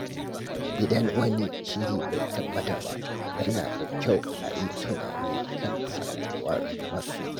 Idan wani shiri bai tabbata ba, yana da kyau a yi tunani kan sabuwar mafita.